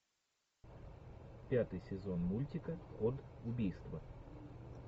пятый сезон мультика код убийства